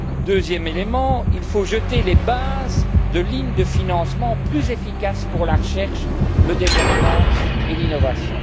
Deuxième élément, il faut jeter les bases de lignes de financement plus efficaces pour la recherche, le développement et l'innovation.